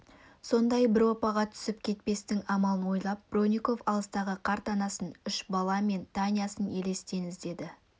сондай бір оппаға түсіп кетпестің амалын ойлап бронников алыстағы қарт анасын үш бала мен танясын елестен іздеді